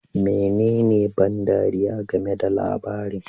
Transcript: Menene ban ɗariya game da labarin?